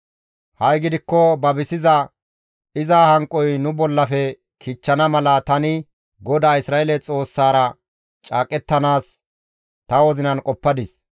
«Ha7i gidikko babisiza iza hanqoy nu bollafe kichchana mala tani GODAA Isra7eele Xoossaara caaqettanaas ta wozinan qoppadis.